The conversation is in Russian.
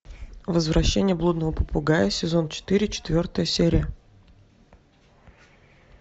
возвращение блудного попугая сезон четыре четвертая серия